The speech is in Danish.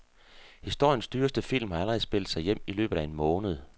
Historiens dyreste film har allerede spillet sig hjem i løbet af en måned.